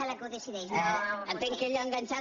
entenc que ell ha enganxat